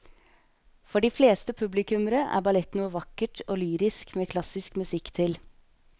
For de fleste publikummere er ballett noe vakkert og lyrisk med klassisk musikk til.